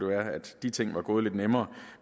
være at de ting var gået lidt nemmere